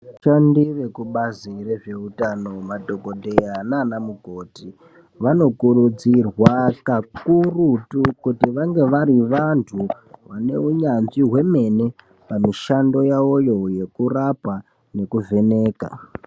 Vashandi vekubazi rezveutano madhokodheya nana mukoti vanokurudzirwa pakurutu kuti vange vari vantu vaneunyazvi hwemene pamushando yavoyo yekurapa nekuvheneka.